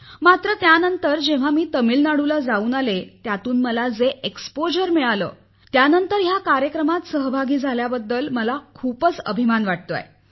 मात्र नंतर जेव्हा मी तामिळनाडूला जाऊन आले त्यातून मला जे अनुभव मिळाले त्यानंतर या कार्यक्रमात सहभागी झाल्याबद्दल मला खूपच अभिमान वाटतो आहे